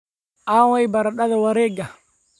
Aaway baradhada wareega?